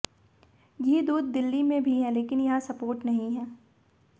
घी दूध दिल्ली में भी है लेकिन यहां सपोर्ट नहीं है